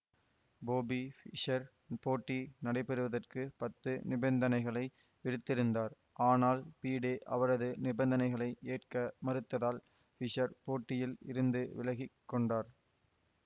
பொபி Fischer போட்டி நடைபெறுவதற்கு பத்து நிபந்தனைகளை விடுத்திருந்தார் ஆனால் பிடே அவரது நிபந்தனைகளை ஏற்க மறுத்ததால் ஃபிஷர் போட்டியில் இருந்து விலகி கொண்டார்